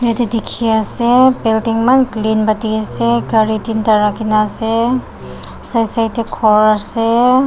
Eteh dekhi ase building eman clean ba dekhey ase gari tinda rakhina ase side side dae ghor ase.